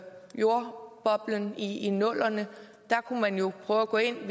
jordboblen i i nullerne og der kunne man jo prøve at gå ind og